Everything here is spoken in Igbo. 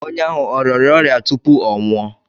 Onye ahụ ọ rịara ọrịa tupu ọ nwụọ?